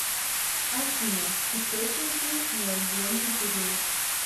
афина источники неогенный период